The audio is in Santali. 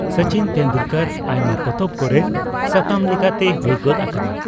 ᱥᱚᱪᱤᱱ ᱴᱮᱱᱰᱩᱞᱠᱚᱨ ᱟᱭᱢᱟ ᱯᱚᱛᱚᱵ ᱠᱚᱨᱮ ᱥᱟᱛᱟᱢ ᱞᱮᱠᱟᱛᱮᱭ ᱦᱩᱭ ᱜᱚᱫ ᱟᱠᱟᱱᱟ ᱾